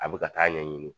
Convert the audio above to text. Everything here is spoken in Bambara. A bɛ ka taa ɲɛɲini